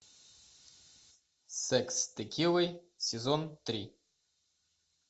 секс с текилой сезон три